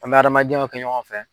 An b'a adamadenyaw kɛ ɲɔgɔn fɛ.